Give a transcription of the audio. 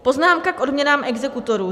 Poznámka k odměnám exekutorů.